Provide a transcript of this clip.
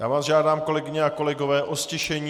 Já vás žádám, kolegyně a kolegové, o ztišení.